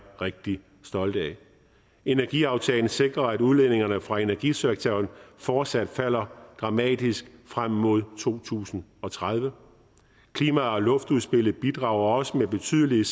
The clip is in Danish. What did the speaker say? rigtig stolte af energiaftalen sikrer at udledningerne fra energisektoren fortsat falder dramatisk frem mod to tusind og tredive klima og luftudspillet bidrager også med betydelige